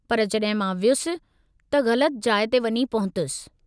पर जॾहिं मां वयुसि, त ग़लति जाइ ते वञी पहुतसि।